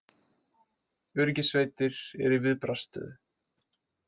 Öryggissveitir eru í viðbragðsstöðu